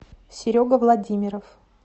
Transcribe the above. серега владимиров